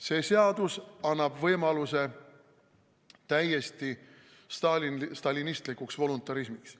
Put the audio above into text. See seadus annaks võimaluse täiesti stalinistlikuks voluntarismiks.